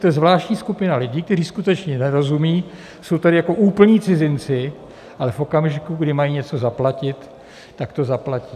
To je zvláštní skupina lidi, kteří skutečně nerozumí, jsou tady jako úplní cizinci, ale v okamžiku, kdy mají něco zaplatit, tak to zaplatí.